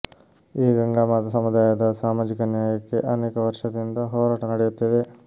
ಈ ಗಂಗಾಮಾತಾ ಸಮುದಾಯದ ಸಾಮಾಜಿಕ ನ್ಯಾಯಕ್ಕೆ ಅನೇಕ ವರ್ಷದಿಂದ ಹೋರಾಟ ನಡೆಯುತ್ತಿದೆ